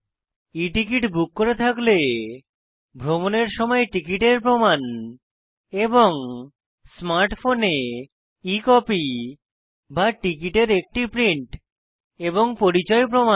e ticket book করে থাকলে ভ্রমনের সময় টিকিটের প্রমান এবং স্মার্ট ফোনে e কপি বা টিকিটের একটি প্রিন্ট এবং পরিচয় প্রমাণ